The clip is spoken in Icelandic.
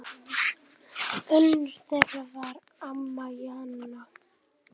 Önnur þeirra var amma Jana.